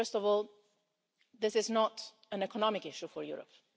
First of all, this is not an economic issue for Europe.